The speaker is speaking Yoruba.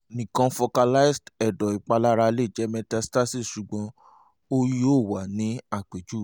nikan focalized ẹdọ ipalara le jẹ metastases sugbon o yoo wa ni apejuwe